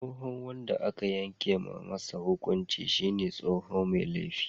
Tsohon wanda aka yanke masa hukunci shine tsohon Mai laifi.